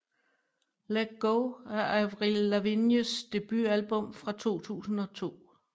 Let Go er Avril Lavignes debutalbum fra 2002